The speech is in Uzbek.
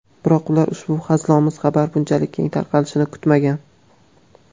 Biroq ular ushbu hazilomuz xabar bunchalik keng tarqalishini kutmagan.